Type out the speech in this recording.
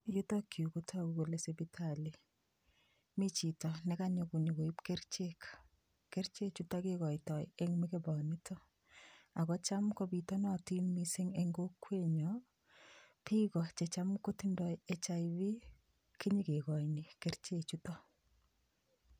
Yutok yu kotagu kole sipitali. Mi chito ne kanyo konyogoip kerichek. Kerichechuta kigoitoi eng mugeponito ago cham kopitanatin mising eng kokwenyo biik o che cham ngotinda HIV kinyegegoini keriche chuto.